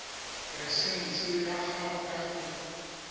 laesense ya gago ya go